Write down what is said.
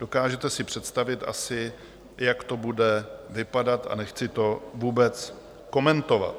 Dokážete si představit asi, jak to bude vypadat, a nechci to vůbec komentovat.